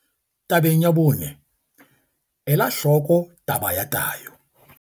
Tabeng ya bone, ela hloko taba ya tayo.